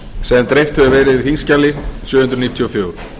sem dreift hefur verið á þingskjali sjö hundruð níutíu og fjögur